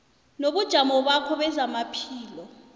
nobujamo bakho bezamaphilo